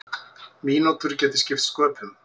Mínútur geti skipt sköpum.